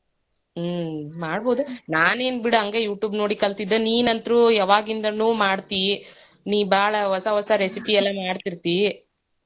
ಹ್ಮ್ ಮಾಡ್ಬೋದ ನಾನೇನ್ ಬಿಡ್ ಹಂಗ YouTube ನೋಡೇ ಕಲ್ತಿದ್ದ ನಿಂನಂತ್ರೂ ಯಾವಾಗಿಂದ್ಲೂ ಮಾಡ್ತಿ ನೀ ಭಾಳ ಹೊಸಾ ಹೊಸಾ recipe ಎಲ್ಲಾ ಮಾಡ್ತಿರ್ತಿ.